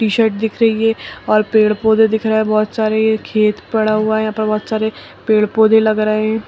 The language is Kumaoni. टी-शर्ट दिख रही है और पेड़ पौधे दिख रहे हैं। बहोत ये सारे खेत पड़ा हुआ है यहां पर बहोत सारे पेड़ पौधे लग रहे हैं।